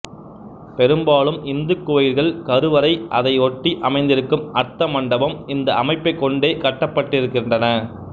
பெரும்பாலும் இந்து கோயில்கள் கருவறை அதை ஒட்டி அமைந்திருக்கும் அா்த்தமண்டபம் இந்த அமைப்பை கொண்டே கட்டப்பட்டிருக்கின்றன